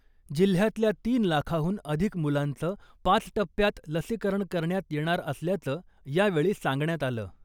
जिल्ह्यातल्या तीन लाखाहून अधिक मुलांचं पाच टप्प्यात लसीकरण करण्यात येणार असल्याचं यावेळी सांगण्यात आलं .